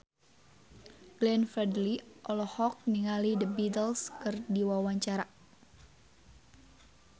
Glenn Fredly olohok ningali The Beatles keur diwawancara